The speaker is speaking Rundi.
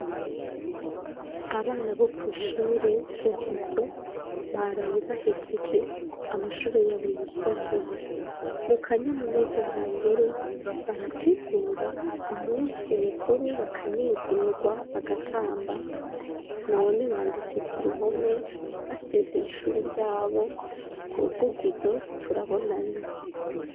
Abana bo kw'ishure vugizo baraye bahejeje amashure y'abo yisumbuye, mu kanyamuneza nta ngere barategura umunsi mukuru bakanezerwa bagatamba none banditse ku ruhome basezera ishuri ryabo ngo vugizo turabonanye.